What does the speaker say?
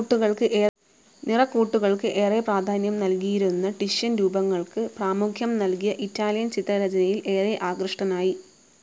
നിറക്കൂട്ടുകൾക്ക് ഏറെ പ്രാധാന്യം നൽകിയിരുന്ന ടിഷ്യൻ രൂപങ്ങൾക്ക് പ്രാമുഖ്യം നൽകിയ ഇറ്റാലിയൻ ചിത്രരചനയിൽ ഏറെ ആകൃഷ്ടനായി.